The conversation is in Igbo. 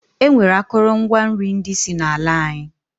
E nwere akụlụ ngwa nri ndi si na ala anyi.